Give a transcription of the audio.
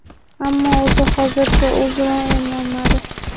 Ammo o‘zi hozircha u bilan emlanmadi.